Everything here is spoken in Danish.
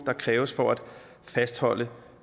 der kræves for at fastholde